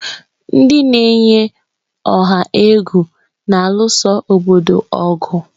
Ndị na-eyi ọha egwu na-alụso obodo ọgụ.